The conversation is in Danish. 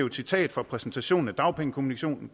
et citat fra præsentationen af dagpengekommissionen